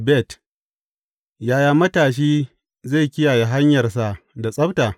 Bet Yaya matashi zai kiyaye hanyarsa da tsabta?